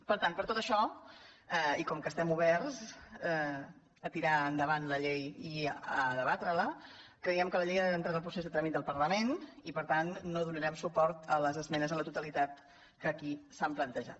per tant per tot això i com que estem oberts a tirar en·davant la llei i a debatre·la creiem que la llei ha d’en·trar en el procés de tràmit del parlament i per tant no donarem suport a les esmenes a la totalitat que aquí s’han plantejat